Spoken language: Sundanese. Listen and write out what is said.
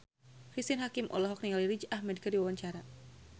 Cristine Hakim olohok ningali Riz Ahmed keur diwawancara